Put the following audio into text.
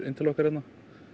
inn til okkar hérna